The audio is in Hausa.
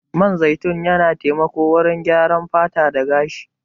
Man zaitun yana taimako wurin gyaran fata da gashi.